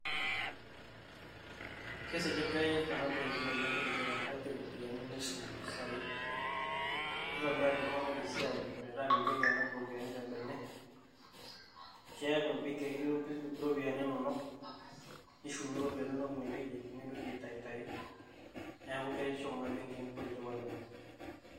Keisligayu oleng' Kuna benkin kutitik amu kepik iropiyiani neahum impisai neitobiraki iltung'anak esiai metaa mintoki anap iropiyiani tebene, keaku ebenki ake etii iro impisai inonok nishumie iropiyiani inonok ine weuji nimintoki aitayu tayu neaku keretisho Kuna benkin kutitik oleng'